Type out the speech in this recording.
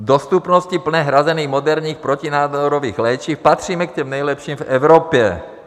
V dostupnosti plně hrazených moderních protinádorových léčiv patříme k těm nejlepším v Evropě.